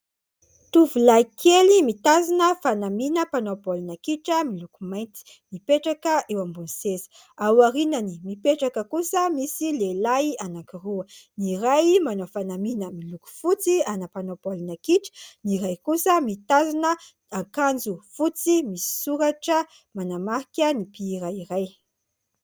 Tovolahy kely mitazona fanamina mpanao baolina kitra miloko mainty mipetraka eo ambony seza, ao aoriany mipetraka kosa, misy lehilahy anankiroa, ny iray manao fanamiana miloko fotsy ana mpanao baolina kitra, ny iray kosa mitazona ankanjo fotsy misy soratra manamarika ny mpihira iray.